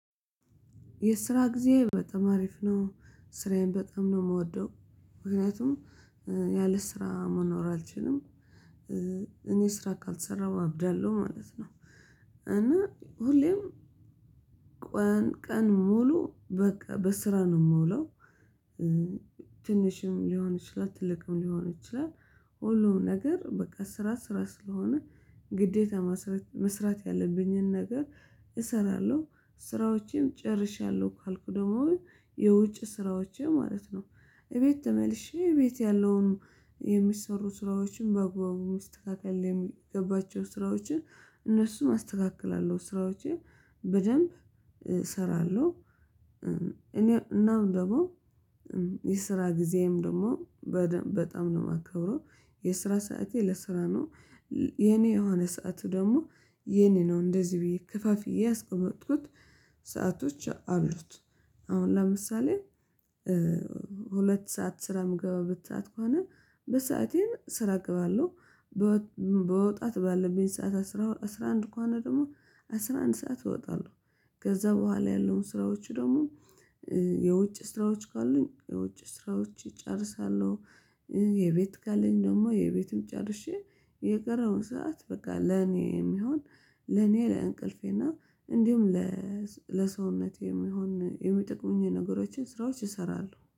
የስራ ጊዜ በጣም አሪፍ ነው ስራዬን በጣም ነው የምወደው ምክንያቱም ያለ ስራ መኖር አልችልም። እኔ ስራ ካልሰራሁ አብዳለሁ ማለት ነው። እና ሁሌም ቀን ሙሉ በቃ በስራ ነው የምውለው። ትንሽም ሊሆን ይችላል ትልቅም ሊሆን ይችላል። ሁሉም ነገር በቃ ስራ ስራ ስለሆነ ግዴታ መስራት ያለብኝን ነገር እሰራለሁ። ስራዎቼን ጨርሻለሁ ካልኩ ደግሞ የውጭ ስራዎቼ ማለት ነው እቤት ተመልሼ እቤት ያለውን የሚሰሩት ስራዎችን በአግባቡ መስተካከል የሚገባቸው ስራዎችን እነሱም አስተካክላለሁ ስራዎችን በደንብ እሰራለሁ። እኔ እናም ደግሞ የስራ ጊዜም ደግሞ በጣም ነው የማከብረው። የስራ ሰዓቴ ለስራ ነው። የኔ የሆነ ሰዓቱ ደግሞ የኔ ነው እንደዚህ ብዬ ከፋፍዬ ያስቆመጥኩት ሰአቶች አሉት። አሁን ለምሳሌ ሁለት ሰዓት ስራ የምገባበት ሰዓት ከሆነ በሰአቴን ስራ እገባለሁ። መወጣት ባለብኝ ሰዓት አስራ አንድ ከሆነ ደግሞ አስራ አንድ ሰዓት እወጣለሁ። ከዛ በኋላ ያለውን ስራዎቹ ደግሞ የውጭ ስራዎች ካሉኝ የውጭ ስራዎች እጨርሳለሁ። የቤት ካለኝ ደግሞ የቤቱን ጨርሼ የቀረውን ሰዓት በቃ ለኔ የሚሆን ለኔ ለእንቅልፌ እና እንዲሁም ለሰውነቴ የሚሆን የሚጠቅሙኝ ነገሮች ስራዎች እሰራለው